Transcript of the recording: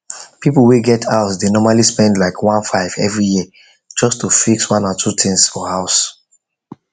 people wey get house dey normally spend like 1500 every year just to fix one or two things for house